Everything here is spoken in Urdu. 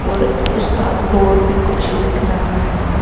.اور استاد بورڈ پی کچھ لکھ رہا ہیں